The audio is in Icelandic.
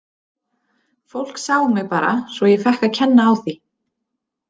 Fólk sá mig bara svo ég fékk að kenna á því.